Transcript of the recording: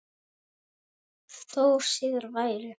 Þó síðar væri.